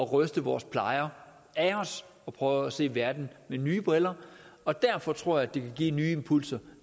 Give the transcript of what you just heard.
ryste vores plejer af os og prøve at se verden med nye briller og derfor tror jeg det vil give nye impulser